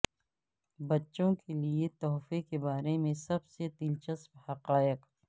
بچوں کے لئے تحفے کے بارے میں سب سے دلچسپ حقائق